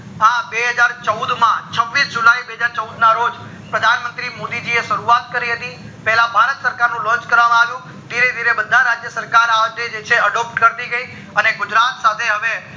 આ બેહજાર ને ચૌદ માં છવીશ જુલાય બેહજાર ના રોજ પ્રધાન મંત્રી મોદી જી એ અણી શરૂવાત કરી હતી પેલા ભારત સરકારનું launch કરવામાં આવ્યું ધીરે ધીરે બધા રાજ્ય સરકાર જે છે adopt કટી જ્ઞ અને ગુજરાત સાથે હવે